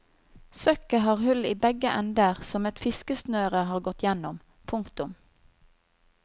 Søkket har hull i begge ender som et fiskesnøret har gått igjennom. punktum